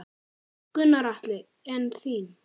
Gunnar Atli: En þín?